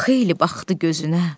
Xeyli baxdı gözünə.